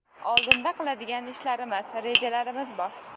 Oldinda qiladigan ishlarimiz, rejalarimiz bor.